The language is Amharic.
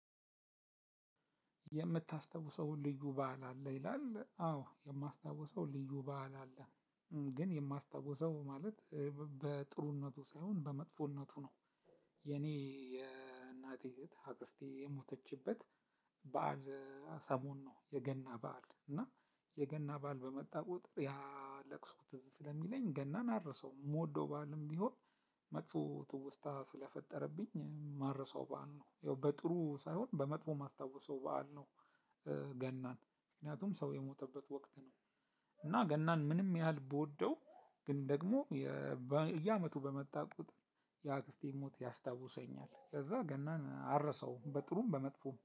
የምታስታውሰውን ልዩ በዓል አለ ይላል? አዎ የማስታውሰው ልዩ በዓል አለ ግን የማስታውሰው ማለት በጥሩነቱ ሳይሆን በመጥፎነቱ ነው። የኔ የእናቴ እህት አክስቴ የሞተችበት በዓል ሰሞን ነው። የገና በዓል እና የገና በዓል በመጣ ቁጥር ያ ለቅሶ ትዝ ስለሚለኝ ገናን አረሳውም የምወደው በዓልም ቢሆን። መጥፎ ትውስታ ስለፈጠረብኝ ማረሳው በዓል ነው ያው በጥሩ ሳይሆን በመጥፎ የማስታውሰው በዓል ነው። ገናን ምክንያቱም ሰው የሞተበት ወቅት ነው። እና ገናን ምንም ያህል ብወደው ግን ደግሞ በየአመቱ በመጣ ቁጥር የአክስቴን ሞት ያስታውሰኛል ከዛ ገናን አረሳውም በጥሩም በመጥፎም